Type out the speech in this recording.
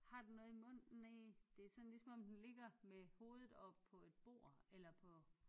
Har den noget i munden næh det er sådan ligesom om den ligger med hovedet oppe på et bord eller på